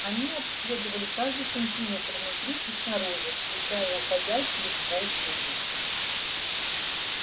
они обследовали каждый сантиметр внутри и снаружи включая уходящие в пол трубы